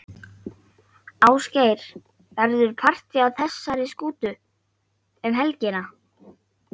Ásgeir, verður partý á þessari skútu um helgina?